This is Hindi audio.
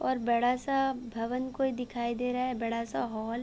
और बड़ा सा भवन कोई दिखाई दे रहा बड़ा सा हॉल --